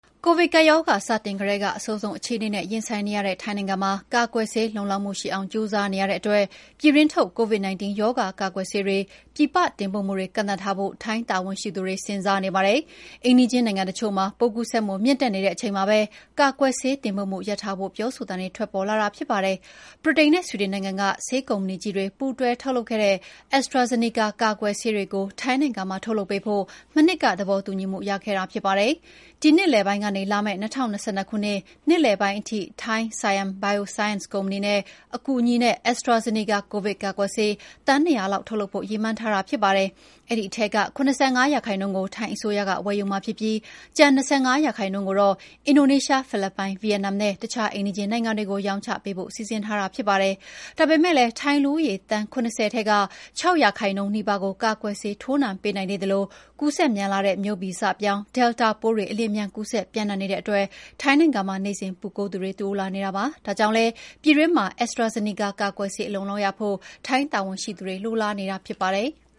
ကိုဗစ်ကပ်ရောဂါ စတင်ကတည်းက အဆိုးဆုံးအခြေအနေနဲ့ ရင်ဆိုင်နေရတဲ့ ထိုင်းနိုင်ငံမှာ ကာကွယ်ဆေး လုံလောက်မှုရှိအောင် ကြိုးစားနေရတဲ့အတွက် ပြည်တွင်းထုတ် Covid-19 ရောဂါကာကွယ်ဆေးတွေ ပြည်ပတင်ပို့မှုတွေ ကန့်သတ်ထားဖို့ ထိုင်းတာဝန်ရှိသူတွေစဉ်းစားနေပါတယ်။ အိမ်နီးချင်းနိုင်ငံတချို့မှာ ပိုးကူးစက်မှုမြင့်တက်နေတဲ့အချိန်မှာပဲ ကာကွယ်ဆေး တင်ပို့မှုရပ်ထားဖို့ ပြောဆိုသံတွေ ထွက်ပေါ်လာတာဖြစ်ပါတယ်။ ဗြိတိန်နဲ့ ဆွီဒင်နိုင်ငံ ကဆေးကုမ္ပဏီကြီးတွေ ပူးတွဲထုတ်လုပ်တဲ့ AstraZeneca ကာကွယ်ဆေးတွေကို ထိုင်းနိုင်ငံမှာထုတ်လုပ်ပေးဖို့ မနှစ်ကသဘောတူညီမှုရခဲ့တာဖြစ်ပါတယ်။ ဒီနှစ်လယ်ပိုင်းကနေ လာမယ့် ၂၀၂၂ နှစ်လယ်ပိုင်းထိ ထိုင်း Siam Bioscience ဆေးကုမ္ပဏီရဲ့အကူအညီနဲ့ AstraZeneca ကိုဗစ်ကာကွယ်ဆေး သန်း ၂၀၀ လောက် ထုတ်လုပ်ဖို့ ရည်မှန်းထားတာဖြစ်ပါတယ်။ အဲဒီထဲက ၇၅ ရာခိုင်နှုန်းကို ထိုင်းအစိုးရက ဝယ်ယူမှာဖြစ်ပြီး ကျန် ၂၅ ရာခိုင်နှုန်းကိုတော့ အင်ဒိုနီးရှား၊ ဖိလစ်ပိုင်၊ ဗီယက်နမ်နဲ့ အခြားအိမ်နီးချင်းနိုင်ငံတွေကို ရောင်းချပေးဖို့စီစဉ်ထားတာဖြစ်ပါတယ်။ ဒါပေမယ့်လည်းထိုင်းလူဦးရေ သန်း ၇၀ ထဲက ၆ ရာခိုင်နှုန်းနီးပါးကိုသာ ကာကွယ်ဆေးထိုးနှံပေးနိုင်သေးသလို ကုူူးစက်မြန် မျိုးဗီဇပြောင်း Delta ပိုးတွေ အလ ျှင်အမြန်ကူးစက် ပြန့်နှံ့နေတဲ့အတွက် ထိုင်းနိုင်ငံမှာ နေ့စဉ်ပိုးကူးသူတွေတိုးလာနေတာပါ။ ဒါကြောင့်လည်း ပြည်တွင်းမှာ AztraZeneca ကာကွယ်ဆေးအလုံအလောက်ရဖို့ ထိုင်းတာဝန်ရှိသူတွေ လိုလားနေတာဖြစ်ပါတယ်။